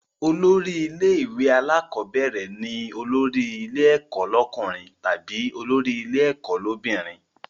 Olórí ilé ìwé alákọ́bẹ̀rẹ̀ ni olórí ilé ẹ̀kọ́ lọ́kùnrin tàbí olórí ilé ẹ̀kọ́ l'óbìnrin